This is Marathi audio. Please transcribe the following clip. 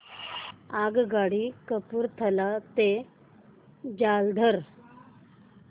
आगगाडी कपूरथला ते जालंधर